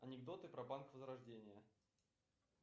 анекдоты про банк возрождение